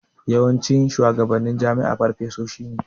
Yawancin shuwagabannin jami'a farfesoshi ne.